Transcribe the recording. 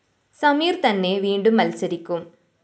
സമീര്‍ തന്നെ വീണ്ടും മത്സരിക്കും